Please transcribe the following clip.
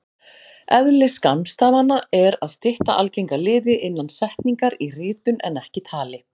Eðli skammstafana er að stytta algenga liði innan setningar í ritun en ekki tali.